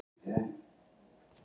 Eigum við að sjá það?